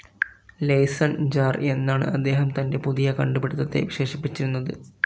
Liaison jar എന്നാണ്‌ അദ്ദേഹം തന്റെ പുതിയ കണ്ടുപിടിത്തത്തെ വിശേഷിപ്പിച്ചിരുന്നത്.